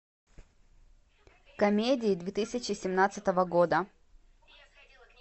комедии две тысячи семнадцатого года